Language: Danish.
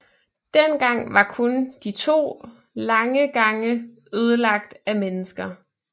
Dengang var kun de to lange gange ødelagt af mennesker